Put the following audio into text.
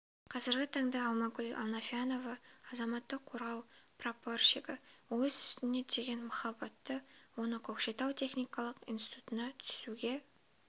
қазіргі таңда алмагүл анофьянова азаматтық қорғау прапорщигі өз ісіне деген махаббат оны көкшетау техникалық институтына түсуге